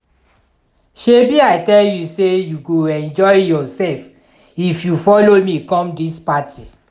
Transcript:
shebi i tell you say you go enjoy yourself if you follow me come dis party